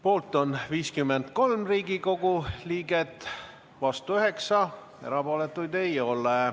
Poolt on 53 Riigikogu liiget, vastu 9, erapooletuid ei ole.